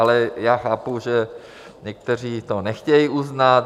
Ale já chápu, že někteří to nechtějí uznat.